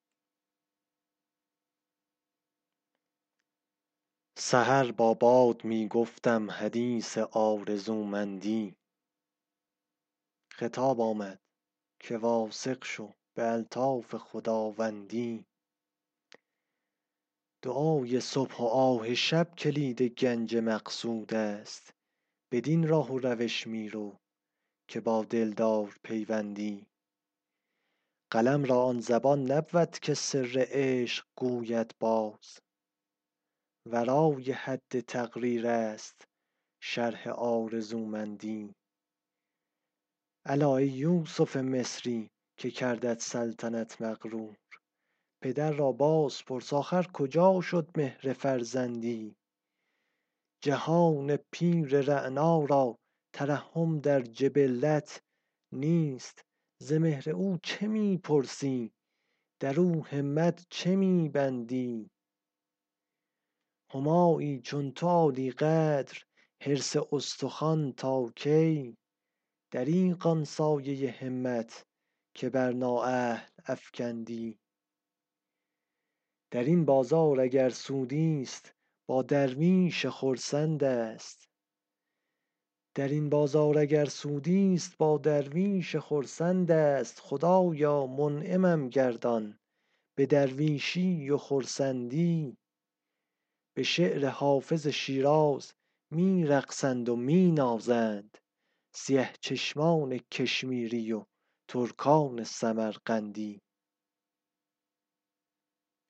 سحر با باد می گفتم حدیث آرزومندی خطاب آمد که واثق شو به الطاف خداوندی دعای صبح و آه شب کلید گنج مقصود است بدین راه و روش می رو که با دلدار پیوندی قلم را آن زبان نبود که سر عشق گوید باز ورای حد تقریر است شرح آرزومندی الا ای یوسف مصری که کردت سلطنت مغرور پدر را باز پرس آخر کجا شد مهر فرزندی جهان پیر رعنا را ترحم در جبلت نیست ز مهر او چه می پرسی در او همت چه می بندی همایی چون تو عالی قدر حرص استخوان تا کی دریغ آن سایه همت که بر نااهل افکندی در این بازار اگر سودی ست با درویش خرسند است خدایا منعمم گردان به درویشی و خرسندی به شعر حافظ شیراز می رقصند و می نازند سیه چشمان کشمیری و ترکان سمرقندی